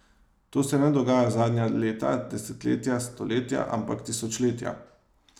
To se ne dogaja zadnja leta, desetletja, stoletja, ampak tisočletja.